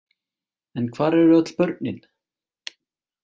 En hvar eru öll börnin?